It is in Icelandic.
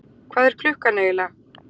Hvað er klukkan eiginlega?